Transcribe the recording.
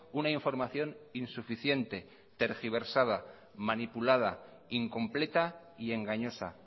una información insuficiente tergiversada manipulada incompleta y engañosa